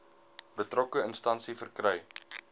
betrokke instansie verkry